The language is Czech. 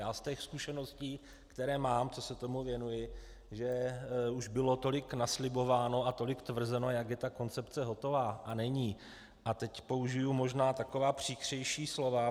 Já z těch zkušeností, které mám, co se tomu věnuji, že už bylo tolik naslibováno a tolik tvrzeno, jak je ta koncepce hotová, a není - a teď použiji možná taková příkřejší slova.